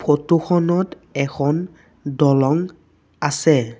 Photo খনত এখন দলং আছে।